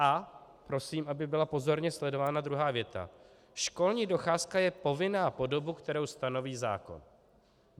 A prosím, aby byla pozorně sledována druhá věta: "Školní docházka je povinná po dobu, kterou stanoví zákon."